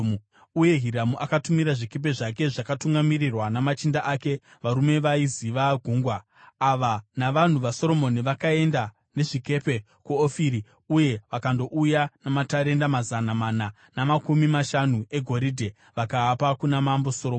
Uye Hiramu akatumira zvikepe zvake zvakatungamirirwa namachinda ake varume vaiziva gungwa. Ava navanhu vaSoromoni, vakaenda nezvikepe kuOfiri uye vakandouya namatarenda mazana mana namakumi mashanu egoridhe, vakaapa kuna Mambo Soromoni.